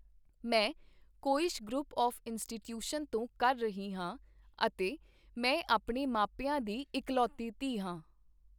ਮੈਂ Quest group of institution ਤੋਂ ਕਰ ਰਹੀ ਹਾਂ ਅਤੇ ਮੈਂ ਆਪਣੇ ਮਾਪਿਆਂ ਦੀ ਇਕਲੋਤੀ ਧੀ ਹਾਂ